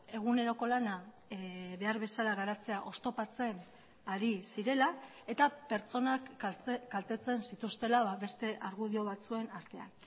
eguneroko lana behar bezala garatzea oztopatzen ari zirela eta pertsonak kaltetzen zituztela beste argudio batzuen artean